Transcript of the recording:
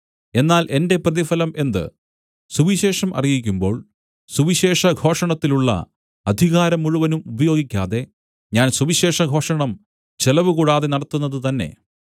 എന്നാൽ എന്റെ പ്രതിഫലം എന്ത് സുവിശേഷം അറിയിക്കുമ്പോൾ സുവിശേഷഘോഷണത്തിലുള്ള അധികാരം മുഴുവനും ഉപയോഗിക്കാതെ ഞാൻ സുവിശേഷഘോഷണം ചെലവുകൂടാതെ നടത്തുന്നത് തന്നെ